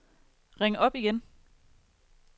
ring op igen